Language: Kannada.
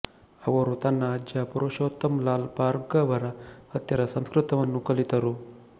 ಅವರು ತನ್ನ ಅಜ್ಜ ಪುರುಷೋತ್ತಮ್ ಲಾಲ್ ಭಾರ್ಗವರ ಹತ್ತಿರ ಸಂಸ್ಕೃತವನ್ನು ಕಲಿತರು